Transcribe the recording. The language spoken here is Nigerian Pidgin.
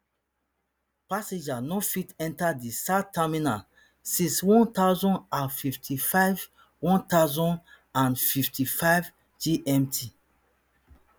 passengers no fit enter di south terminal since one thousand and fifty-five one thousand and fifty-five gmt